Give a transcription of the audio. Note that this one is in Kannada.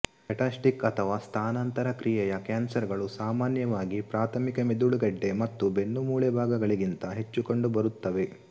ಮೆಟಾಸ್ಟಿಕ್ ಅಥವಾ ಸ್ಥಾನಾಂತರ ಕ್ರಿಯೆಯ ಕ್ಯಾನ್ಸರ್ ಗಳು ಸಾಮಾನ್ಯವಾಗಿ ಪ್ರಾಥಮಿಕ ಮೆದುಳು ಗೆಡ್ಡೆ ಮತ್ತು ಬೆನ್ನುಮೂಳೆಭಾಗಗಳಿಗಿಂತ ಹೆಚ್ಚು ಕಂಡುಬರುತ್ತವೆ